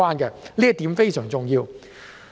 這一點非常重要。